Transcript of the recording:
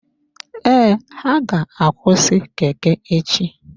Ee, ha ga-akwụsị Keke echi.